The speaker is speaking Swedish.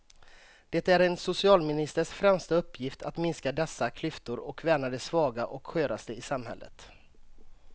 Det är en socialministers främsta uppgift att minska dessa klyftor och värna de svaga och sköraste i samhället.